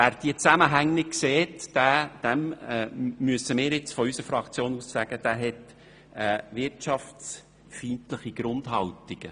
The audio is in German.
Wer diese Zusammenhänge nicht sieht, dem müssen wir seitens der SP-JUSO-PSAFraktion sagen, dass er eine wirtschaftsfeindliche Grundhaltung hat.